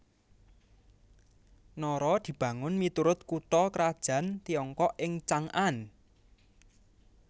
Nara dibangun miturut kutha krajan Tiongkok ing Chang an